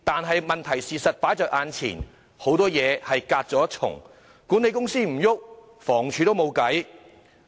可是，事實擺在眼前，很多事情始終隔了一層，管理公司不行動，房署也沒有辦法。